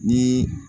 Ni